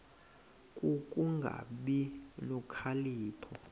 ku kungabi nokhalipho